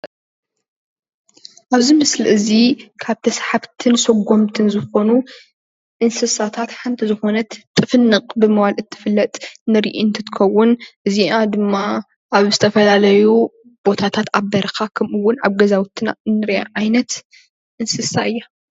ኣብ እዚ ምስሊ እዚ ካብ ተሳሓብትን ሰጎምትን ዝኮኑ እንስሳታት ሓንቲ ዝኮነት ጥፍንቅ ብምባል እትፍለጥ ንርኢ እንትትከውን እዚኣ ድማ ኣብ ዝተፈላለዩ ቦታታት ኣብ በረካታት ኣብ ኣገዛውቲ እንሪኣ ዓይነት እንስሳ እያ፡፡